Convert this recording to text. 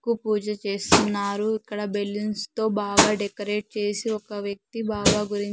కు పూజ చేస్తున్నారు ఇక్కడ బెలూన్స్ తో బాగా డెకరేట్ చేసి ఒక వ్యక్తి బాబా గురిం--